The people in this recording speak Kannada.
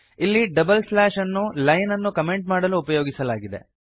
ಇಲ್ಲಿ ಡಬಲ್ ಸ್ಲ್ಯಾಶ್ ಅನ್ನು ಲೈನ್ ಅನ್ನು ಕಮೆಂಟ್ ಮಾಡಲು ಉಪಯೋಗಿಸಲಾಗಿದೆ